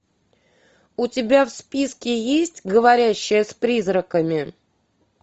у тебя в списке есть говорящая с призраками